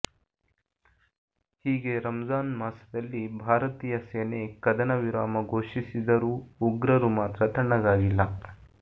ಹೀಗೆ ರಮ್ಜಾನ್ ಮಾಸದಲ್ಲಿ ಭಾರತೀಯ ಸೇನೆ ಕದನ ವಿರಾಮ ಘೋಷಿಸಿದರೂ ಉಗ್ರರು ಮಾತ್ರ ತಣ್ಣಗಾಗಿಲ್ಲ